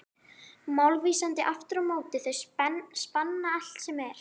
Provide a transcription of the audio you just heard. Málvísindi, aftur á móti, þau spanna allt sem er.